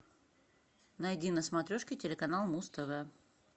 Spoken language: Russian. найди на смотрешке телеканал муз тв